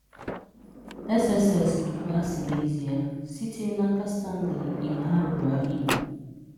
SSS bụ igwe asị n'ezie, sitere n'aka Stanley Imhanruor Igbo.